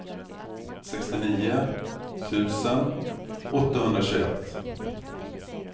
sextionio tusen åttahundratjugoett